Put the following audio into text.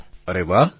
પ્રધાનમંત્રી અરે વાહ